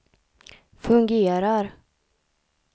fungerar